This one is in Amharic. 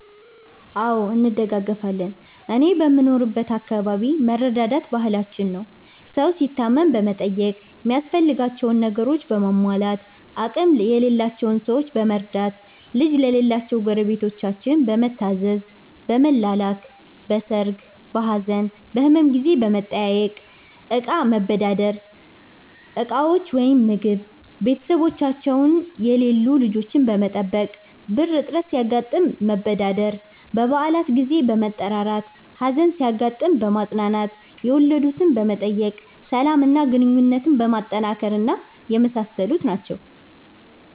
አዎ እንደጋገፋለን እኔ በምኖርበት አከባቢ መረዳዳት ባህላችን ነው። ሠው ሲታመም በመጠየቅ ሚያስፈልጋቸውን ነገሮችን በማሟላት፣ አቅም የሌላቸውን ሠዎች በመርዳት፣ ልጅ ለሌላቸው ጎረቤታችን በመታዘዝ፣ በመላላክ፣ በሠርግ፣ በሀዘን፣ በህመም ጊዜ በመጠያየቅ፣ እቃ መበዳደር (እንደ ዕቃዎች ወይም ምግብ)፣ቤተሠቦቻቸው የሌሉ ልጆች በመጠበቅ፣ ብር እጥረት ሲያጋጥም መበዳደር፣ በበአላት ጊዜ በመጠራራት፣ ሀዘን ሲያጋጥም በማፅናናት፣ የወለድትን በመጠየቅ፣ ሠላም እና ግንኙነትን በማጠናከር እና የመሣሠሉት ናቸው።